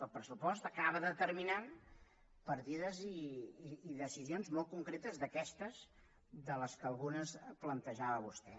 el pressupost acaba determinant partides i decisions molt concretes d’aquestes algunes de les quals plantejava vostè